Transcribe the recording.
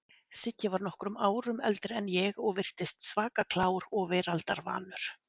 Siggi var nokkrum árum eldri en ég og virtist svaka klár og veraldarvanur.